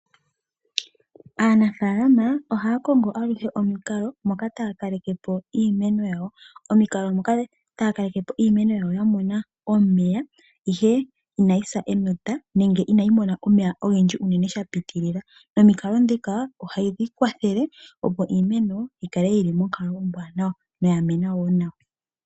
Aanafalama ohaya kongo aluhe omukalo moka taya kaleke po imeno yawo. Omikalo moka taya kaleke po iimeno yawo ya mona omeya ihe inayi sa enota nenge inayi mona omeya ogendji uunene sha pitilila. Nomikalo dhika ohadhi kwathele opo iimeno yi kale yili monkalo ombwaanawa noya mena woo nawa.